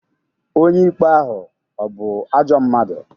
Onye ikpe ahụ ọ̀ bụ ajọ mmadụ?